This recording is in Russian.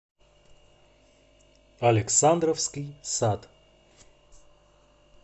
александровский сад